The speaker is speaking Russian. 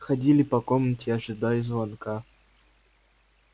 ходили по комнате ожидая звонка